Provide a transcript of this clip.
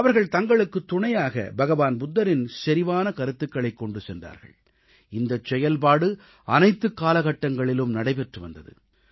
அவர்கள் தங்களுக்குத் துணையாக பகவான் புத்தரின் செறிவான கருத்துகளைக் கொண்டு சென்றார்கள் இந்தச் செயல்பாடு அனைத்துக் காலகட்டங்களிலும் நடைபெற்று வந்தது